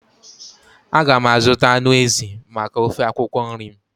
A ga m azụta anụ ezi maka ofe akwụkwọ nri m.